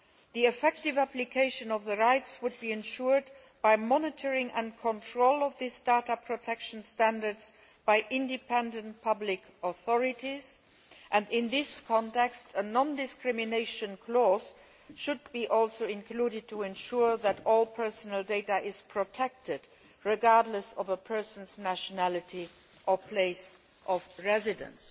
The effective application of these rights would be ensured by the monitoring and controlling of these data protection standards by independent public authorities and, in this context, a non discrimination clause should also be included to ensure that all personal data is protected regardless of a person's nationality or place of residence,